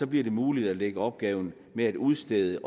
bliver det muligt at lægge opgaven med at udstede